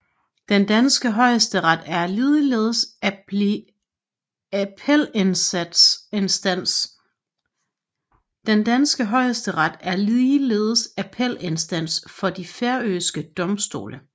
Den danske Højesteret er ligeledes appelinstans for de færøske domstole